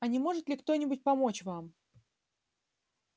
а не может ли кто-нибудь помочь вам